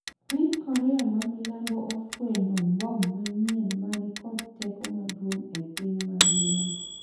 piny Korea ma milambo ofwenyo mbom manyien ma ni kod teko maduong' e piny mangima